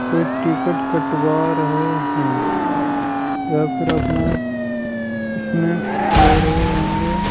कोई टिकट कटवा रहे हैं या फिर अपना स्नेक्स ले रहे होंगे।